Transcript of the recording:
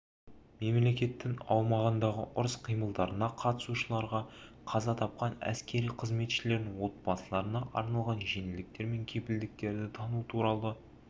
мемлекеттің аумағындағы ұрыс-қимылдарына қатысушаларға қаза тапқан әскери қызметшілердің отбасыларына арналған жеңілдіктер мен кепілдіктерді тану туралы